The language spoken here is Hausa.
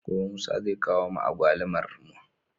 Gobe musa zai kawo ma agwalumar